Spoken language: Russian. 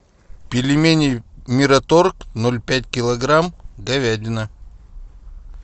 пельмени мираторг ноль пять килограмм говядина